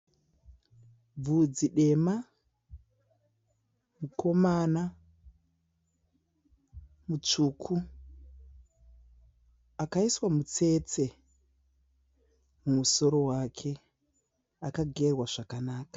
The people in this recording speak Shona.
Bvudzi dema, mukomana mutsvuku, akaiswa mutsetse mumusoro wake, akagerwa zvakanaka.